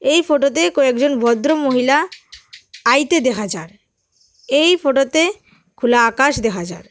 এই ফোটোতে কয়েকজন ভদ্রমহিলা আইতে দেখা যার এই ফোটোতে খোলা আকাশ দেখা যার ।